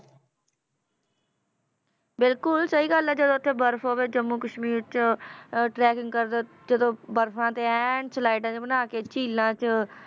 ਬਿਲਕੁਲ ਸਹੀ ਗੱਲ ਹੈ ਜਦੋਂ ਉੱਥੇ ਬਰਫ਼ ਹੋਵੇ, ਜੰਮੂ ਕਸ਼ਮੀਰ 'ਚ ਅਹ trekking ਕਰਦੇ, ਜਦੋਂ ਬਰਫ਼ਾਂ ਤੇ ਐਨ ਸਲਾਈਡਾਂ ਜਿਹੀਆਂ ਬਣਾ ਕੇ ਝੀਲਾਂ 'ਚ